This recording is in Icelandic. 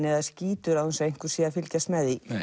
eða skítur án þess að einhver sé að fylgjast með því